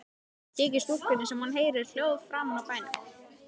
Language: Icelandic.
Þykir stúlkunni sem hún heyri hljóð framan úr bænum.